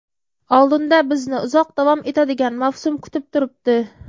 Oldinda bizni uzoq davom etadigan mavsum kutib turibdi.